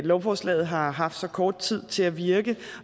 lovforslaget har haft så kort tid til at virke